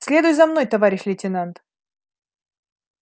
следуй за мной товарищ лейтенант